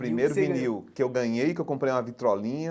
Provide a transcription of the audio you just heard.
Primeiro vinil que eu ganhei, que eu comprei uma vitrolinha,